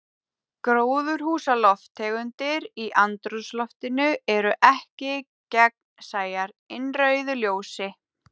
Gróðurhúsalofttegundir í andrúmsloftinu eru ekki gagnsæjar innrauðu ljósi.